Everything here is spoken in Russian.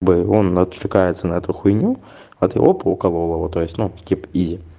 бы он отвлекается на эту хуйню а ты оп уколол его то есть ну типа изи